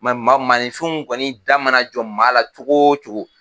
maa nifinw kɔni da mana jɔ maa la cogo o cogo.